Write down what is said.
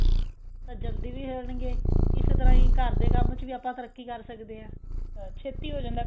ਤਾਂ ਜਲਦੀ ਵੀ ਹੋ ਜਾਣਗੇ ਇਸ ਤਰ੍ਹਾਂ ਹੀ ਘਰਦੇ ਕੰਮ ਚ ਵੀ ਆਪਾਂ ਤਰੱਕੀ ਕਰ ਸਕਦੇ ਆ ਅਹ ਛੇਤੀ ਹੋ ਜਾਂਦਾ